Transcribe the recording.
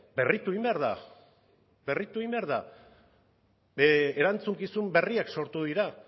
berritu egin behar da berritu egin behar da erantzukizun berriak sortu dira